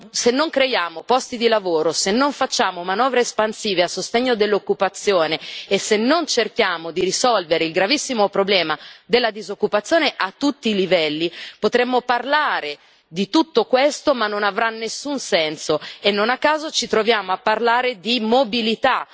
Se non creiamo posti di lavoro, se non facciamo manovre espansive a sostegno dell'occupazione e se non cerchiamo di risolvere il gravissimo problema della disoccupazione a tutti i livelli, potremmo parlare di tutto questo ma non avrà nessun senso, e non a caso ci troviamo a parlare di mobilità.